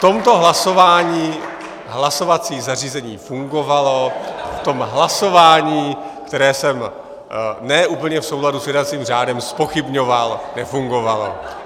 V tomto hlasování hlasovací zařízení fungovalo, v tom hlasování, které jsem ne úplně v souladu s jednacím řádem zpochybňoval, nefungovalo.